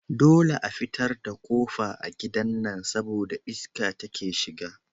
Dole a fitar da kofa a gidan nan saboda iska take shiga